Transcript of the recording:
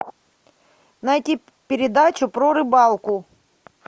найди передачу про рыбалку